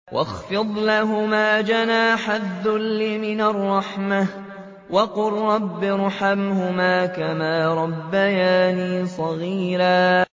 وَاخْفِضْ لَهُمَا جَنَاحَ الذُّلِّ مِنَ الرَّحْمَةِ وَقُل رَّبِّ ارْحَمْهُمَا كَمَا رَبَّيَانِي صَغِيرًا